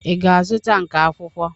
Ị ga-azụta nka akwụkwọ?